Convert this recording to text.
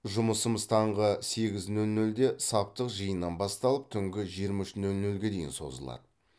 жұмысымыз таңғы сегіз нөл нөлде саптық жиыннан басталып түнгі жиырма үш нөл нөлге дейін созылады